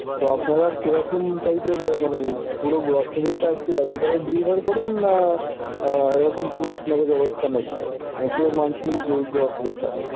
তো আপনারা কিরকম type এর মানে আহ পুরো grocery টা কি একবারে delivery করেন, না আহ এরকম আপনাদের কোন ব্যবস্থা নেই আহ পুরো monthly grocery টা?